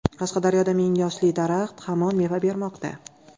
Qashqadaryoda ming yoshli daraxt hamon meva bermoqda.